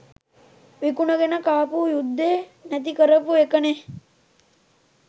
විකුණගෙන කාපු යුද්දේ නැති කරපු එකනේ!.